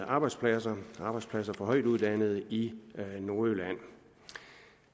arbejdspladser arbejdspladser for højtuddannede i nordjylland